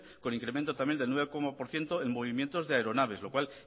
con incremento también del nueve por ciento en movimientos de aeronaves lo cual